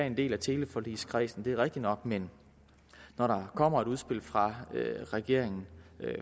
en del af teleforligskredsen det er rigtigt nok men når der kommer et udspil fra regeringen